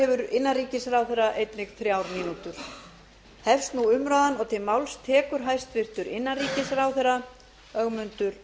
hefur innanríkisráðherra einnig þrjár mínútur hefst nú umræðan og til máls tekur hæstvirtur innanríkisráðherra ögmundur jónasson